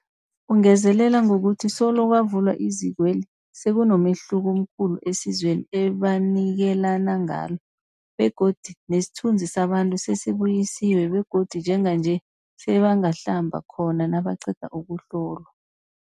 Ungezelele ngokuthi solo kwavulwa izikweli, sekunomehluko omkhulu esizweni ebanikelana ngalo begodu nesithunzi sabantu sesibuyisiwe begodu njenganje sebangahlamba khona nabaqeda ukuhlolwa.